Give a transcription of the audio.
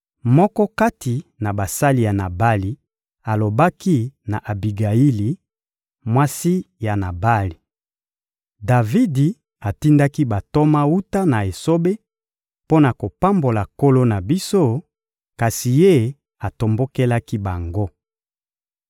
Moko kati na basali ya Nabali alobaki na Abigayili, mwasi ya Nabali: «Davidi atindaki bantoma wuta na esobe mpo na kopambola nkolo na biso, kasi ye atombokelaki bango.